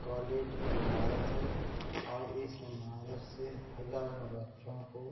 college की इमारत है और इस इमारत से हज़ारो बच्चो को --